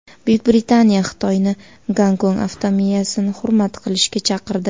Buyuk Britaniya Xitoyni Gonkong avtonomiyasini hurmat qilishga chaqirdi .